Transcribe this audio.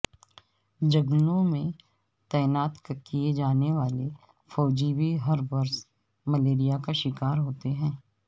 جنگلوں میں تعینات کیئے جانے والے فوجی بھی ہر برس ملیریا کا شکار ہوتے ہیں